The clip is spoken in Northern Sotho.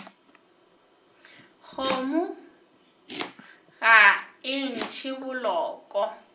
kgomo ga e ntšhe boloko